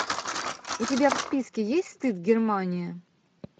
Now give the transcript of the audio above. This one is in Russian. у тебя в списке есть стыд германия